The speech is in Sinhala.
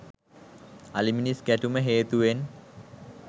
අලි මිනිස් ගැටුම හේතුවෙන්